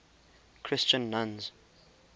christian nuns